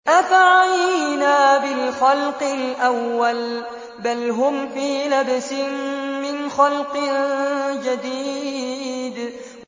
أَفَعَيِينَا بِالْخَلْقِ الْأَوَّلِ ۚ بَلْ هُمْ فِي لَبْسٍ مِّنْ خَلْقٍ جَدِيدٍ